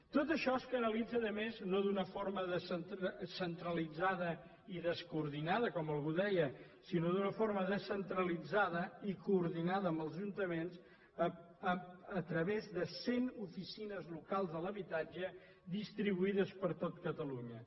tot això es canalitza a més no d’una forma centralitzada i descoordinada com algú deia sinó d’una forma descentralitzada i coordinada amb els ajuntaments a través de cent oficines locals de l’habitatge distribuïdes per tot catalunya